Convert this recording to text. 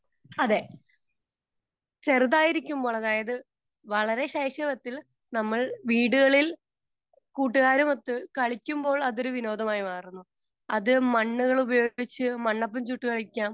Speaker 2 അതെ. ചെറുതായിരിക്കുമ്പോൾ, അതായത് വളരെ ശൈശവത്തിൽ നമ്മൾ വീടുകളിൽ കൂട്ടുകാരുമൊത്ത് കളിക്കുമ്പോൾ അതൊരു വിനോദമായി മാറുന്നു. അത് മണ്ണുകൾ ഉപയോഗിച്ച് മണ്ണപ്പം ചുട്ടു കളിക്കാം,